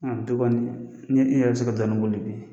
A bi kɔni, ni i yɛrɛ be se ka dɔɔni boli bi